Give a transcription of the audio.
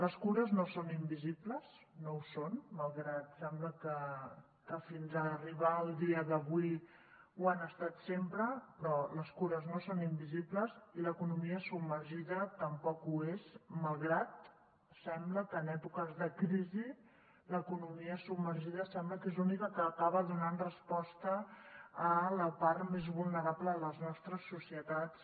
les cures no són invisibles no ho són malgrat que sembla que fins a arribar al dia d’avui ho han estat sempre però les cures no són invisibles i l’economia submergida tampoc ho és malgrat que en èpoques de crisi l’economia submergida sembla que és l’única que acaba donant resposta a la part més vulnerable de les nostres societats